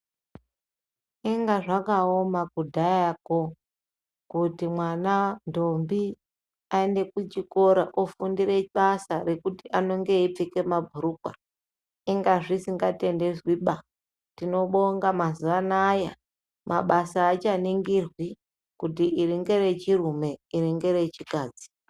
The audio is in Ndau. Inga zvakaoma kudhaya ko kuti mwana ndombi aenda kuchikora iite basa rekuti anenge eipfeka mabhurukwa tinotenda mazuwanaya akuchaningirwi kutiiringerechirume iringerechikadzi.